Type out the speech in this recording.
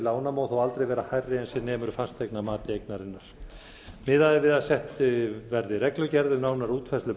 lána má þó aldrei vera hærri en sem nemur fasteignamati eignarinnar miðað er við að sett eða reglugerð um nánari útfærslu